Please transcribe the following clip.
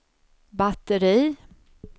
batteri